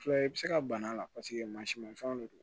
Filɛ i bɛ se ka bana la paseke maa si man fɛnw de don